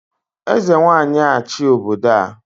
Eze Nwanyị a-achị obodo